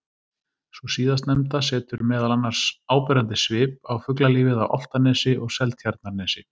Sú síðastnefnda setur meðal annars áberandi svip á fuglalífið á Álftanesi og Seltjarnarnesi.